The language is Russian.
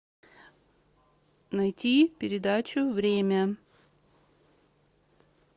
найти передачу время